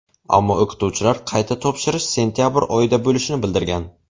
Ammo o‘qituvchilar qayta topshirish sentabr oyida bo‘lishini bildirgan.